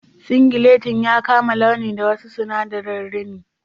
Singilettin ya kama launi da wasu sinadarin rini..